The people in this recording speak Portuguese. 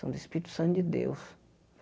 São do Espírito Santo de Deus.